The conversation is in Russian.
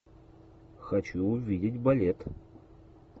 хочу увидеть балет